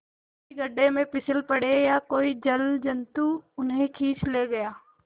किसी गढ़े में फिसल पड़े या कोई जलजंतु उन्हें खींच ले गया